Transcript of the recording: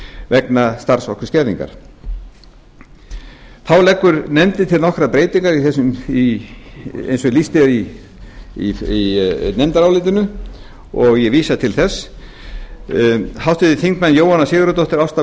vegna starfsorkuskerðingar þá leggur nefndin leggur til nokkrar breytingar eins og lýst er í nefndarálitinu og ég vísa til þess háttvirtur þingmaður jóhanna sigurðardóttir ásta